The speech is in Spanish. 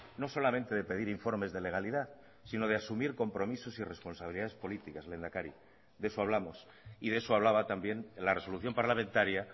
no solamente de pedir informes de legalidad sino de asumir compromisos y responsabilidades políticas lehendakari de eso hablamos y de eso hablaba también la resolución parlamentaria